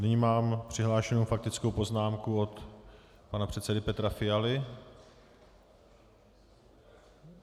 Nyní mám přihlášenou faktickou poznámku od pana předsedy Petra Fialy.